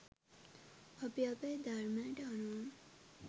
අපි අපේ ධර්මයට අනුව